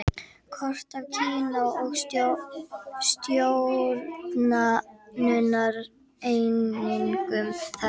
Kort af Kína og stjórnunareiningum þess.